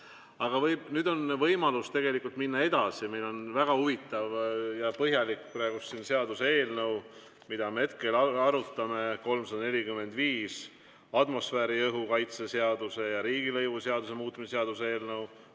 Aga nüüd on võimalus minna edasi, meil on praegu väga huvitav ja põhjalik seaduseelnõu, mida me hetkel arutame, 345, atmosfääriõhu kaitse seaduse ja riigilõivuseaduse muutmise seaduse eelnõu.